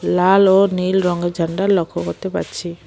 লাল ও নীল রঙের ঝান্ডা লক্ষ্য করতে পারছি।